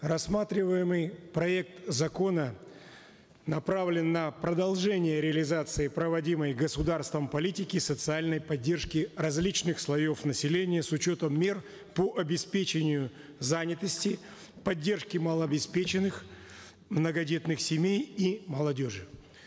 рассматриваемый проект закона направлен на продолжение реализации проводимой государством политики социальной поддержки различных слоев населения с учетом мер по обеспечению занятости поддержки малообеспеченных многодетных семей и молодежи